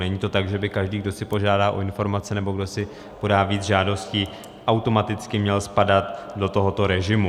Není to tak, že by každý, kdo si požádá o informace nebo kdo si podá víc žádostí, automaticky měl spadat do tohoto režimu.